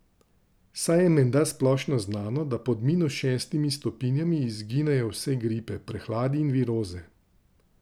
Saj je menda splošno znano, da pod minus šestimi stopinjami izginejo vse gripe, prehladi in viroze.